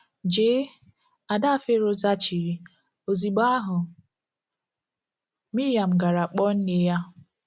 Jee, ” ada Fero zaghachiri, ozugbo ahụ, Miriam gara kpọọ nne ya.